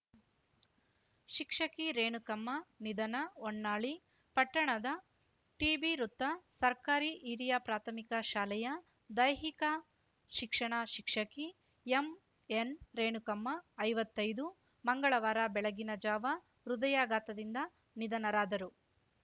ಶಿಕ್ಷಕಿ ರೇಣುಕಮ್ಮ ನಿಧನ ಹೊನ್ನಾಳಿ ಪಟ್ಟಣದ ಟಿಬಿವೃತ್ತ ಸರ್ಕಾರಿ ಹಿರಿಯ ಪ್ರಾಥಮಿಕ ಶಾಲೆಯ ದೈಹಿಕ ಶಿಕ್ಷಣ ಶಿಕ್ಷಕಿ ಎಂಎನ್‌ರೇಣುಕಮ್ಮ ಐವತ್ತೈದು ಮಂಗಳವಾರ ಬೆಳಗಿನ ಜಾವ ಹೃದಯಾಘಾತದಿಂದ ನಿಧನರಾದರು